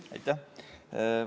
Aitäh!